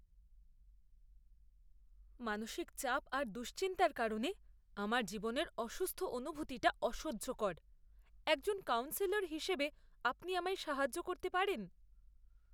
মানসিক চাপ আর দুশ্চিন্তার কারণে আমার জীবনের অসুস্থ অনুভূতিটা অসহ্যকর; একজন কাউন্সিলর হিসেবে আপনি আমায় সাহায্য করতে পারেন?